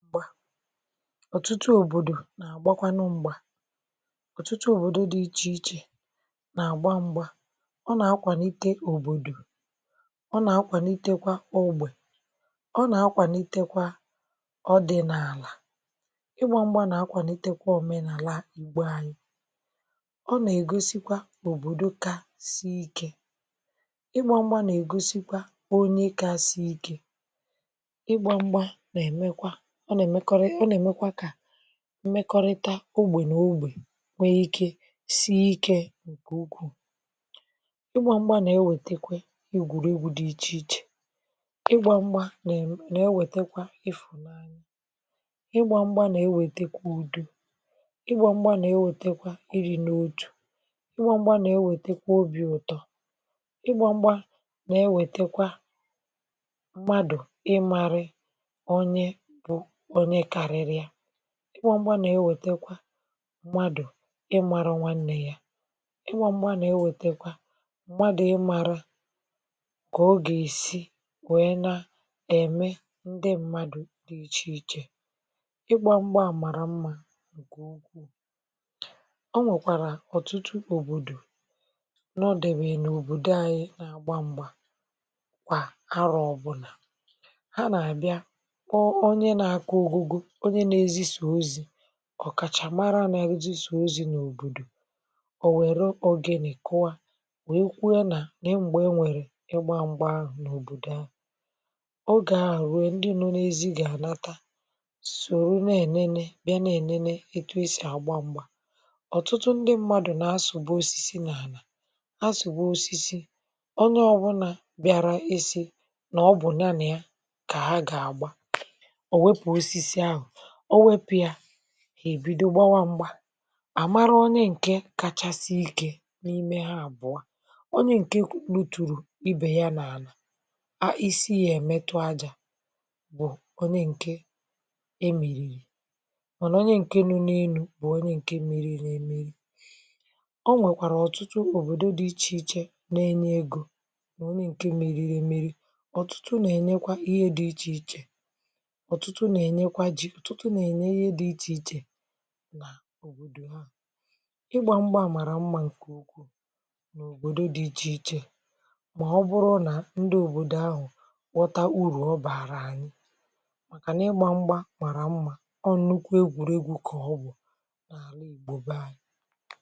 Mgba, ọ̀tụ̀tụ̀ òbòdò nà-àgbakwànụ m̀gbà, ọ̀tụ̀tụ̀ òbòdò dị̇ iche iche nà-àgbà m̀gbà, ọ nà-akwàlite òbòdò, ọ nà-akwàlitekwa ogbè, ọ nà-akwàlitekwa ọdị̇nààlà, ịgbà m̀gbà nà-akwàlitekwa òmenàlà Ìgbò ànyị, ọ nà-ègosikwa òbòdò kà sì ikė, ịgbà m̀gbà nà-ègosikwa onye kà sie ikė, ịgbà m̀gbà nà-emekwa, ọ nà-emekwa ka mmekọrịta ogbè na ogbè nwee sie ike nkè ukwuu, ịgbà m̀gbà nà-ewètekwa egwùrù egwú dị iche iche, ịgbà m̀gbà nà-ewètekwa ìfùnanya, ịgbà m̀gbà nà-ewètekwa ùdò, ịgbà m̀gbà nà-ewètekwa ìdí n’òtù, ịgbà m̀gbà nà-ewètekwa obì ụ̀tọ́, ịgbà m̀gbà nà-ewètekwa mmadụ ìmȧrị̇ onye bụ onye kárírị ya, ịgbà m̀gbà nà-ewètekwa mmadụ̀ ìmȧrọ̇ nwanne yà, ịgbà m̀gbà nà-ewètekwa mmadụ̀ ìmȧra kà ogè esi na-èmé ndị mmadụ̀ dị iche iche, ịgbà m̀gbà à màrà mmȧ ǹkè ukwu, o nwèkwàrà ọ̀tụ̀tụ̀ òbòdò n’ọdèbè nà òbòdò ànyị nà-àgbà m̀gbà kwà, arò ọbụnà, hà nà-abịa kpoo onye nà-akụ ogo go, onye nà-èzì za ozi, ọ̀kàchàmara nà-èzísò ozi̇ n’òbòdò, ò wèlu ogene kùwa, wee kwuo nà nèe mgbe enwe ịgbà m̀gbà ahụ n’òbòdò ahụ, oge ahụ ruo, ndị nọ n’èzí gà-ànàtà, sòró n’ènènè bịa na-ènènè etu e sì àgbà m̀gbà, ọ̀tụ̀tụ̀ ndị mmadụ̀ nà-asụ̀gbu osisi nà-ànà, asụ̀gbu osisi, onye ọbụnà bịara isi n’àbụ ya nà yà gà hà gà-àgbà, ọ nwepụ osisi ahụ, onwepụ yà, hà èbidò gbàwà m̀gbà, àmàrā onye ǹkè kacha sie ike n’ime hà àbụọ, onye ǹkè gùturù ibè ya n’álà, isi ya èmetụ ajȧ, bụ̀ onye ǹkè e mị̀rị̀rị̀, màna onye ǹkè nọ̀ó n’èlụ̇ bụ̀ onye ǹkè mèríemeri, o nwèkwàrà ọ̀tụ̀tụ̀ òbòdò dị iche iche nà-enye egȯ onye ǹkè mèríemeri, ọ̀tụ̀tụ̀ nà-enyekwa ihe dị iche iche nà, ọ̀tụ̀tụ̀ nà-enyekwa jí, ọ̀tụ̀tụ̀ nà-enye ihe dị iche iche n’òbòdò ahụ̀, ịgbà m̀gbà à màrà mmȧ ǹkè ukwu n’òbòdò dị iche iche, mà ọ bụrụ nà ndị òbòdò ahụ̀ ghọta ùrù ọ bàrà ànyị, màkà nà ịgbà m̀gbà màrà mmȧ, ọ nụkwà egwùrù egwú kà ọ bụ̀ n’Àlà Ìgbò bà ànyị.